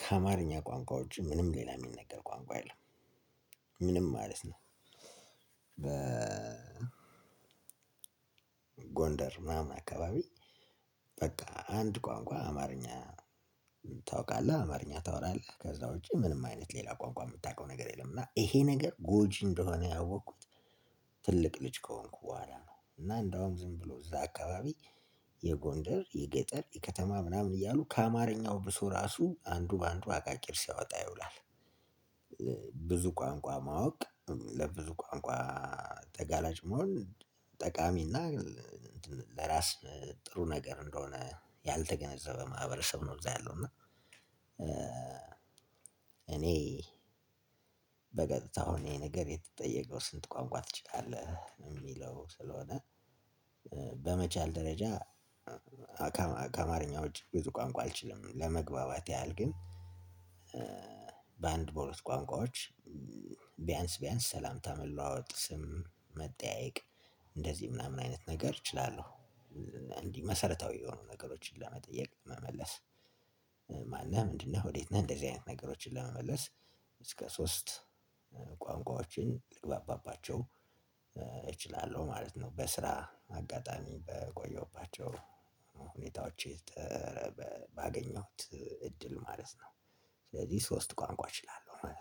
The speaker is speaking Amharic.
ከአማርኛ ቋንቋ ውጭ ምንም ሌላ እሚነገር ቋንቋ የለምም። ምንም ማለት ነው። በ ጎንደር ምናምን አካባቢ በቃ አንድ ቋንቋ አማርኛ ታውቃለህ አማርኛ ታወራለህ ከዛ ውጪ ምንም አይነት ሌላ ቋንቋ እምታውቀው ነገር የለም እና ይሄ ነገር ጎጂ እንደሆነ ያወቅኩት። ትልቅ ልጅ ከሆንኩ በኋላ ነው እና እንደውም ዝም ብሎ እዛ አካባቢ የጎንደር የገጠር የከተማ ምናምን እያሉ ከአማርኛው ብሶ ራሱ አንዱ በአንዱ አቃቂር ሲያወጣ ይውላል። ብዙ ቋንቋ ማወቅ ለብዙ ቋንቋ ተጋራጭ መሆን ጠቃሚና ለራስ ጥሩ ነገር እንደሆነ ያልተገነዘበ ማህበረሰብ ነው። እዛ ያለው እና። እኔ በቀጥታው አሁን ይሄ ነገር የተጠየቀው ስንት ቋንቋ ትችላለህ? እሚለው ስለሆነ በመቻል ደረጃ ከአማርኛው ውጭ ብዙ ቋንቋ አልችልም። ለመግባባት ያህል ግን በአንድ በሁለት ቋንቋዎች ቢያንስ ቢያንስ ሰላምታ መለዋወጥ ስም መጠያየቅ እንደዚህ ምናምን አይነት ነገር እችላለሁ። እንዲህ መሰረታዊ የሆኑ ነገሮችን ለመጠየቅ ለመመለስ ማነህ ምንድነህ ወዴት ነህ እንደዚህ አይነት ነገሮችን ለመመለስ እስከ ሶስት ቋንቋዎችን ልግባባቸው እችላለሁ ማለት ነው። በስራ አጋጣሚ በቆየሁባቸው ሁኔታዎች ባገኘሁት እድል ማለት ነው ስለዚህ ሶስት ቋንቋ እችላለሁ ማለት ነው